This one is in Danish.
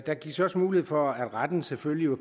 der gives også mulighed for at retten selvfølgelig